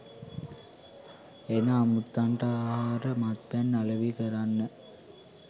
එන අමුත්තන්ට ආහාර මත්පැන් අලෙවි කරන්න.